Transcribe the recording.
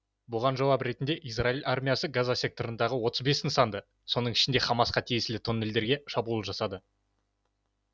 бұған жауап ретінде израиль армиясы газа секторындағы отыз бес нысанды соның ішінде хамасқа тиесілі тоннельдерге шабуыл жасады